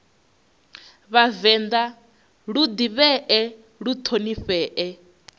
vhavenḓa lu ḓivhee lu ṱhonifhee